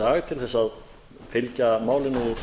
dag til að fylgja málinu úr